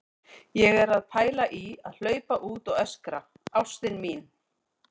Ég er að pæla í að hlaupa út og öskra: ÁSTIN MÍN!